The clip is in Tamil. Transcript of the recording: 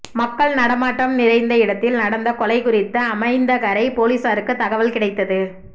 மக்கள் நடமாட்டம் நிறைந்த இடத்தில் நடந்த கொலை குறித்து அமைந்தகரை போலீசாருக்கு தகவல் கிடைத்தது